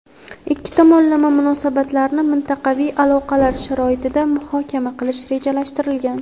ikki tomonlama munosabatlarni mintaqaviy aloqalar sharoitida muhokama qilish rejalashtirilgan.